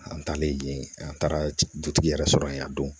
An taalen yen an taara dutigi yɛrɛ sɔrɔ yen a don